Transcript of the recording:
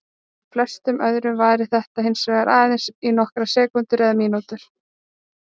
Hjá flestum öðrum varir þetta hins vegar aðeins í nokkrar sekúndur eða mínútur.